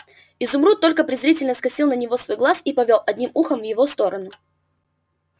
изумруд только презрительно скосил на него свой глаз и повёл одним ухом в его сторону